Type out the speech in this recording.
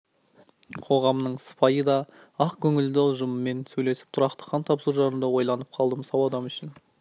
қоғамының сыпайы да ақкөңілді ұжымымен сөйлесіп тұрақты қан тапсыру жайында ойланып қалдым сау адам үшін